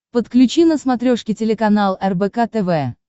подключи на смотрешке телеканал рбк тв